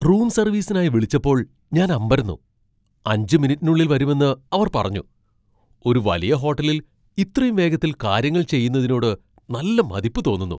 Room സർവീസിനായി വിളിച്ചപ്പോൾ ഞാൻ അമ്പരന്നു, അഞ്ച് മിനിറ്റിനുള്ളിൽ വരുമെന്ന് അവർ പറഞ്ഞു. ഒരു വലിയ ഹോട്ടലിൽ ഇത്രയും വേഗത്തിൽ കാര്യങ്ങൾ ചെയുന്നതിനോട് നല്ല മതിപ്പ് തോന്നുന്നു.